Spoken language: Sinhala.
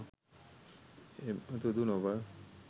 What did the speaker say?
එමතුදු නොව,